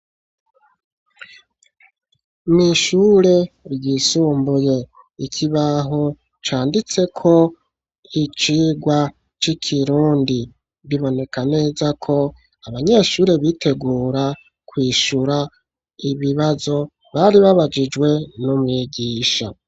Mw'ishure ryisumbuye, ikibaho canditseko icirwa c'ikirundi; biboneka neza ko, abanyeshure bitegura, kwishura ibibazo, bari babajijwe n'umwigisha.